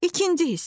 İkinci hissə.